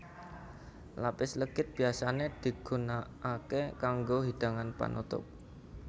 Lapis legit biyasané digunakaké kanggo hidangan panutup